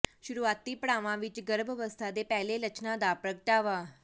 ਸ਼ੁਰੂਆਤੀ ਪੜਾਵਾਂ ਵਿਚ ਗਰਭ ਅਵਸਥਾ ਦੇ ਪਹਿਲੇ ਲੱਛਣਾਂ ਦਾ ਪ੍ਰਗਟਾਵਾ